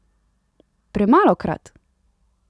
Premalokrat!